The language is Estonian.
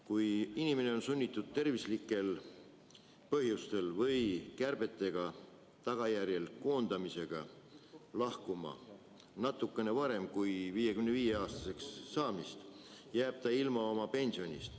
Kui inimene on sunnitud tervislikel põhjustel või kärbete tõttu koondamise tagajärjel lahkuma natukene enne 55-aastaseks saamist, jääb ta ilma oma pensionist.